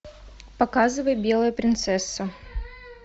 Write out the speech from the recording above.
показывай белая принцесса